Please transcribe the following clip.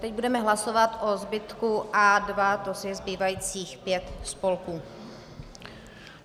Teď budeme hlasovat o zbytku A2, to jest zbývajících pět spolků.